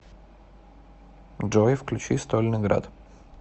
джой включи стольный град